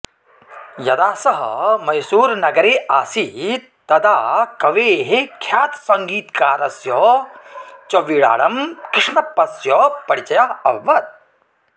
यदा सः मैसूरुनगरे असीत् तदा कवेः ख्यातसङ्गीतकारस्य च बिडारं कृष्णप्पस्य परिचयः अभवत्